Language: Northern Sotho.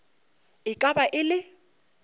e ka ba e le